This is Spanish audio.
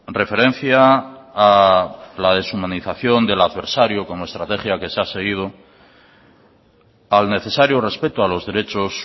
referencia a la deshumanización del adversario como estrategia que se ha seguido al necesario respeto a los derechos